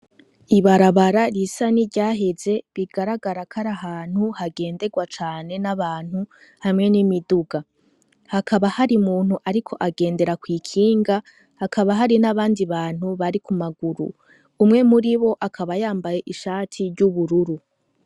Ibarabara ryisa ni ryaheze bigaragara kari ahantu hagenderwa cane n'abantu hamwe n'imiduga hakaba hari muntu, ariko agendera kw'ikinga hakaba hari n'abandi bantu bari ku maguru umwe muri bo akaba yambaye ishati ry'ubururu.